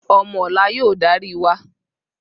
Omo ola y‘o dari wa